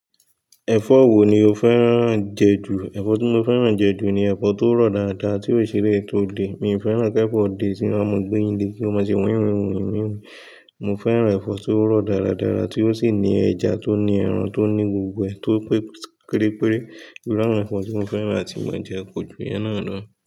Ẹ̀fọ́ wo ni o fẹ́ràn jẹ jù? Ẹ̀fọ́ tí mo fẹ́ràn jẹ jù ni ẹ̀fọ́ tó rọ̀ dáadáa tí ó sì rẹ̀ tó dẹ̀. Mi ò fẹ́ràn kí ẹ̀fọ́ dẹ̀ tí wọn máa ń gbé nílé kí ó má ṣe wẹ̀wẹ̀wẹ̀ wẹ̀wẹ̀wẹ̀. Mo fẹ́ràn ẹ̀fọ́ tó rọ̀ dáradára tí ó sì ní ẹja tó ní ẹran tó ní gbogbo ẹ̀ tó pẹ́ pẹ́ kéré kéré. Irú àwọn ẹ̀fọ́ tí mo fẹ́ràn àti mó ń jẹ ko ju ìyẹn náà lọ.